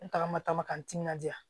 N tagama ta ma ka n timinandiya